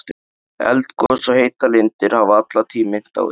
Eldgos og heitar lindir hafa alla tíð minnt á þetta.